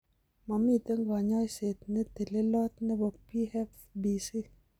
Momiten kanyoiset netelelot nebo PFBC